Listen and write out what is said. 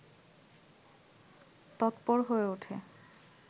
তৎপর হয়ে ওঠে